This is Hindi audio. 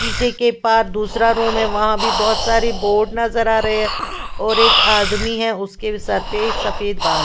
शीशे के पास दूसरा रूम है वहाँ भी बहोत सारे बोट नज़र आ रहे है और एक आदमी है उसके सर पे सफ़ेद बाल है ।